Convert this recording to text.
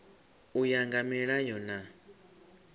u ya nga milayo na